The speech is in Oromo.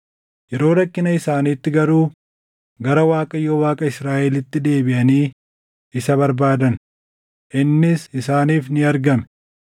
Yeroo rakkina isaaniitti garuu gara Waaqayyo Waaqa Israaʼelitti deebiʼanii isa barbaadan; innis isaaniif ni argame.